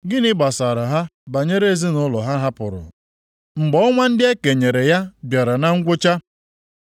Gịnị gbasara ha banyere ezinaụlọ ha hapụrụ mgbe ọnwa ndị e kenyere ya bịara na ngwụcha?